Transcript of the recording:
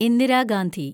Indira Gandhi